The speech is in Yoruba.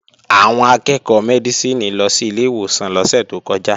Àwọn akẹ́ẹ̀kọ́ Mẹ́dísìnì lọ sí ilé ìwòsàn lọ́sẹ̀ tó kọjá